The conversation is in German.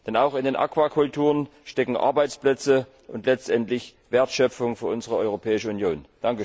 Denn auch in den Aquakulturen stecken Arbeitsplätze und letztendlich Wertschöpfung für unsere Europäische Union.